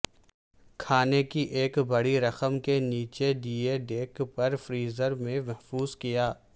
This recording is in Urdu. کھانے کی ایک بڑی رقم کے نیچے دیے ڈیک پر فریزر میں محفوظ کیا